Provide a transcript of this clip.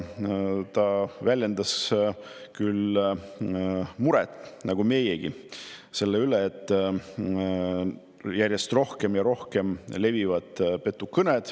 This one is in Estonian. Ta väljendas küll muret nagu meiegi selle üle, et petukõned levivad järjest rohkem ja rohkem.